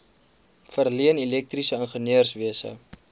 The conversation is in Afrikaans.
verleen elektriese ingenieurswese